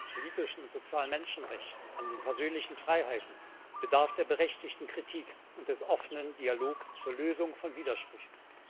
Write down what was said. politischen und sozialen Menschenrechten, an den persönlichen Freiheiten bedarf der berechtigten Kritik und des offenen Dialogs zur Lösung von Widersprüchen.